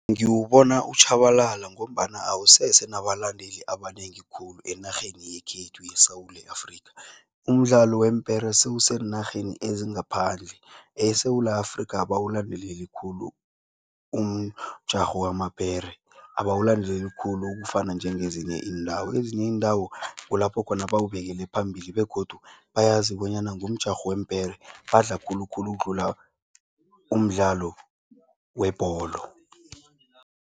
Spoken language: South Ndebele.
Ngiwubona utjhabalala ngombana awusese nabalandeli abanengi khulu enarheni yekhethu yeSewula Afrika. Umdlalo weempera sewuseenarheni ezingaphandle, eSewula Afrika abawulandeleli khulu umjarho wamapere. Abawulandeleli khulu ukufana njengezinye iindawo, ezinye iindawo kulapho khona bawubekele phambili begodu bayazi bonyana ngomjarho weempere, badla khulukhulu ukudlula umdlalo webholo